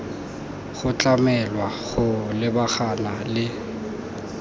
go tlamelwa go lebagana le